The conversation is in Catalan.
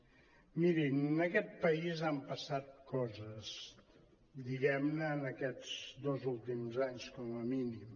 mirin en aquest país han passat coses diguem·ne en aquests dos últims anys com a mínim